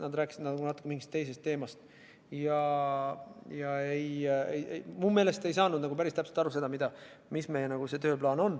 Nad rääkisid nagu natuke mingist teisest teemast ja mu meelest ei saanud päris täpselt aru, mis meie tööplaan on.